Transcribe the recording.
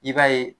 I b'a ye